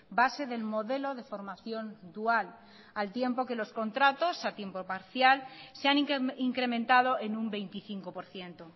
base del modelo de formación dual al tiempo que los contratos a tiempo parcial se han incrementado en un veinticinco por ciento